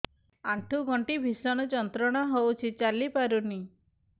ଆଣ୍ଠୁ ଗଣ୍ଠି ଭିଷଣ ଯନ୍ତ୍ରଣା ହଉଛି ଚାଲି ପାରୁନି